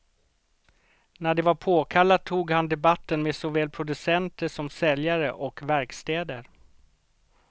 När det var påkallat tog han debatten med såväl producenter som säljare och verkstäder.